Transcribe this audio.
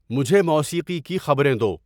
مجھے موسیقی کی خبریں دو